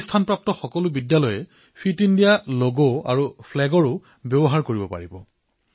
এই মূল্যায়ন প্ৰাপ্তকৰা সকলো বিদ্যালয়ে ফিট ইণ্ডিয়া লগ আৰু পতাকা ব্যৱহাৰ কৰিব পাৰিব